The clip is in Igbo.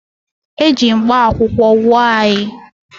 E ji mkpakwụkwọ gwọọ anyị